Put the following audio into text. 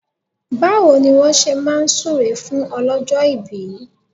Báwo ni wọ́n ṣe máa súre fún ọlọ́jọ́ ìbí?